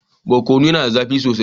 Barkono yana da zafi sosai